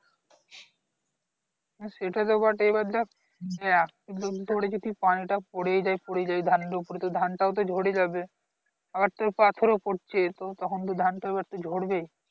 হ্যাঁ সেটা তো বটেই এবার দেখ . তো ধানটাও পরে যাবে আবার তোর পাথর ও পড়ছে তো তখন তো ধান তোএবার তো ঝরবেই